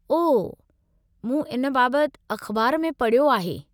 ओह, मूं इन बाबति अख़बार में पढ़ियो आहे।